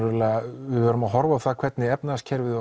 við verðum að horfa á það hvernig efnahagslífið